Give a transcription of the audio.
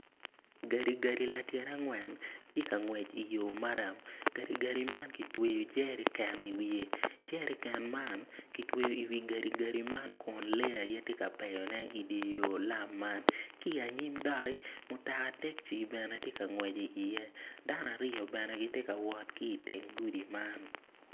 Gadigadi latyena angwen tye ka ngwec i yo maram gadigati man kitweyo jerican i wiye jerican man lee aye tye ka peyone i dye lam man.